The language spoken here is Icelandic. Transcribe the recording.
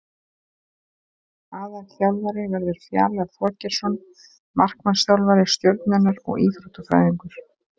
Aðalþjálfari verður Fjalar Þorgeirsson markmannsþjálfari Stjörnunnar og Íþróttafræðingur.